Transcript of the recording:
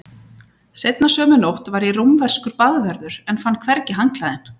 Seinna sömu nótt var ég rómverskur baðvörður en fann hvergi handklæðin.